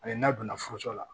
Ani n'a donna furuso la